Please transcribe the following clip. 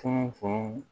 Fɛn o fɛn